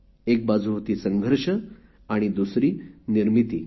एक बाजू होती संघर्ष आणि दुसरी निर्मिती